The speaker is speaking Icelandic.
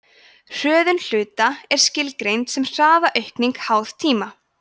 hröðun hluta er skilgreind sem hraðaaukning háð tíma